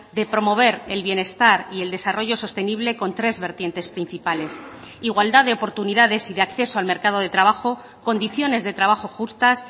de promover el bienestar y el desarrollo sostenible con tres vertientes principales igualdad de oportunidades y de acceso al mercado de trabajo condiciones de trabajo justas